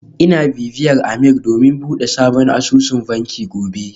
Ina bibiyar Ameer domin bude sabon asusun banki gobe